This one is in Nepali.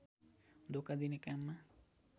धोका दिने काममा